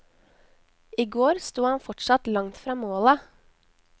I går sto han fortsatt langt fra målet.